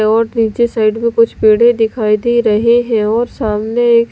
और नीचे साइड में कुछ पेड़े दिखाई दे रहे हैं और सामने एक--